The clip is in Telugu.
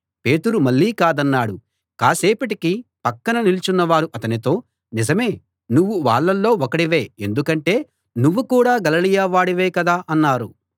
పేతురు మళ్ళీ కాదన్నాడు కాసేపటికి పక్కన నిలుచున్నవారు అతనితో నిజమే నువ్వు వాళ్ళలో ఒకడివే ఎందుకంటే నువ్వు కూడా గలిలయ వాడివే కదా అన్నారు